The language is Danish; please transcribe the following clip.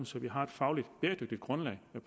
så vi har et fagligt bæredygtigt grundlag